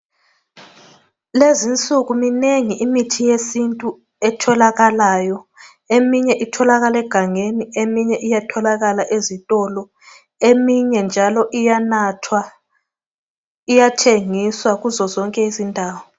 Lezinsuku minengi imithi yesintu etholakalayo, eminye itholakala egangeni, eminye iyatholakala ezitolo, eminye njalo iyanathwa iyathengiswa kuzo zonke izindawo.